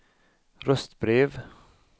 röstbrev